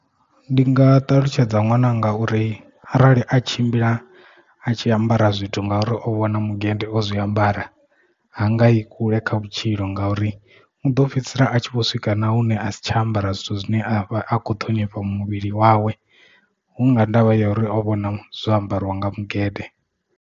Ndi nga ṱalutshedza ṅwananga uri arali a tshimbila a tshi ambara zwithu ngauri o vhona mugede o zwiambara hanga i kule kha vhutshilo ngauri u ḓo fhedzisela a tshi vho swika na hune a si tsha ambara zwithu zwine a vha akho ṱhonifha muvhili wawe hunga ndavha ya uri o vhona zwo ambariwa nga mugede.